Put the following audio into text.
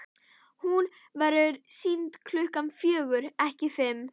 Hún verður sýnd klukkan fjögur, ekki fimm.